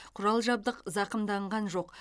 құрал жабдық зақымданған жоқ